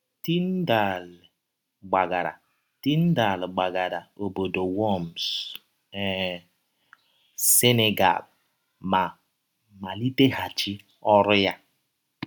Tyndale gbagara Tyndale gbagara ọbọdọ Worms um, Senegal, ma maliteghachi ọrụ ya.